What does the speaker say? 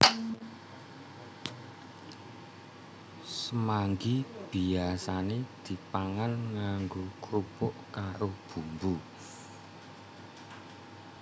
Semanggi biyasane dipangan nganggo krupuk karo bumbu